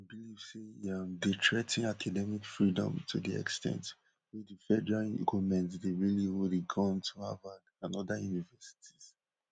um say e um dey threa ten academic freedom to di ex ten t wey di federal goment dey really hold a gun to harvard and oda universities